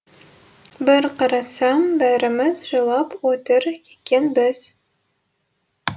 бір қарасам бәріміз жылап отыр екенбіз